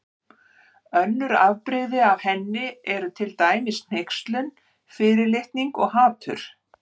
Önnur afbrigði af henni eru til dæmis hneykslun, fyrirlitning og hatur.